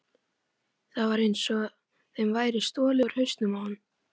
Það var einsog þeim væri stolið úr hausnum á honum.